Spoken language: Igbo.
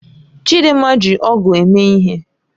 Chidinma ji ọ̀gu eme ihe.